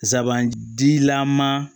Sabanan jilama